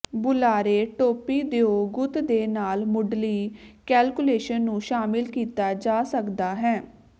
ਬੁਲਾਰੇ ਟੋਪੀ ਦਿਓ ਗੁੱਤ ਦੇ ਨਾਲ ਮੁੱਢਲੀ ਕੈਲਕੂਲੇਸ਼ਨ ਨੂੰ ਸ਼ਾਮਿਲ ਕੀਤਾ ਜਾ ਸਕਦਾ ਹੈ